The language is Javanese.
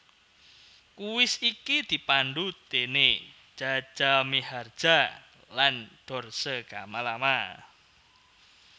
Kuis iki dipandu déné Jaja Miharja lan Dorce Gamalama